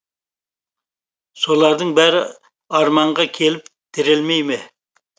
солардың бәрі арманға келіп тірелмейме